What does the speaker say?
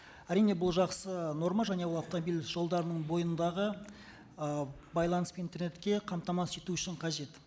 әрине бұл жақсы норма және ол автомобиль жолдарының бойындағы ііі байланыс пен интернетке қатамасыз ету үшін қажет